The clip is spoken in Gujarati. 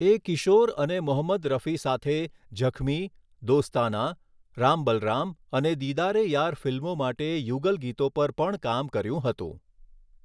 એ કિશોર અને મોહમ્મદ રફી સાથે 'ઝખમી', 'દોસ્તાના', 'રામ બલરામ' અને 'દીદાર એ યાર' ફિલ્મો માટે યુગલ ગીતો પર પણ કામ કર્યું હતું.